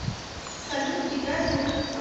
салют играй бурито